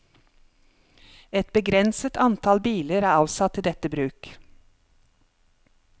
Et begrenset antall biler er avsatt til dette bruk.